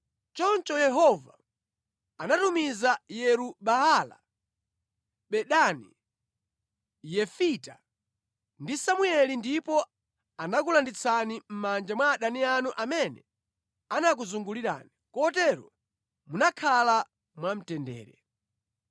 Choncho Yehova anatumiza Yeru-Baala, Bedani, Yefita ndi Samueli ndipo anakulanditsani mʼmanja mwa adani anu amene anakuzungulirani, kotero munakhala mwamtendere.